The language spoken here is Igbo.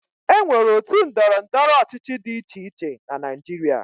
E nwere otu ndọrọndọrọ ọchịchị dị iche iche na Naịjirịa.